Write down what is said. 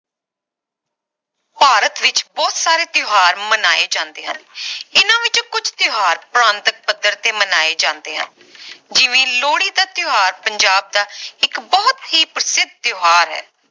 ਭਾਰਤ ਵਿਚ ਬਹੁਤ ਸਾਰੇ ਤਿਓਹਾਰ ਮਨਾਏ ਜਾਂਦੇ ਹਨ।, ਇਨਾ ਵਿਚੋਂ ਕੁਛ ਤਿਓਹਾਰ ਪ੍ਰਾਂਤਕ ਪੱਧਰ ਤੇ ਮਨਾਏ ਜਾਂਦੇ ਹਨ ਜਿਵੇਂ ਲੋਹੜੀ ਦਾ ਤਿਓਹਾਰ ਪੰਜਾਬ ਦਾ ਇਕ ਬਹੁਤ ਹੀ ਪ੍ਰਸਿੱਧ ਤਿਓਹਾਰ ਹੈ